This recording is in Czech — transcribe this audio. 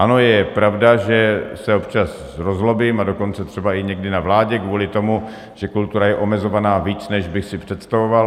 Ano, je pravda, že se občas rozzlobím, a dokonce třeba i někdy na vládě, kvůli tomu, že kultura je omezovaná víc, než bych si představoval.